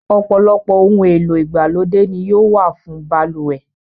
Ọ̀pọ̀lọpọ̀ ohun èlò ìgbàlódé ni yóò wà fún balùwẹ̀.